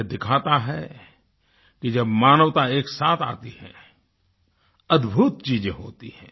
यह दिखाता है कि जब मानवता एक साथ आती है अदभुत चीज़ें होती हैं